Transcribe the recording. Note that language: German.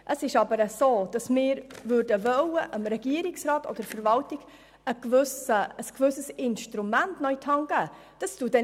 Wir möchten aber dem Regierungsrat beziehungsweise der Verwaltung ein zusätzliches Instrument in die Hand geben.